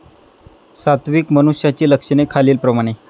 सात्विक मनुष्याची लक्षणे खालील प्रमाणे.